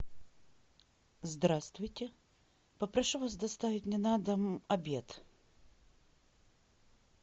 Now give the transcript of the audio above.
здравствуйте попрошу вас доставить мне на дом обед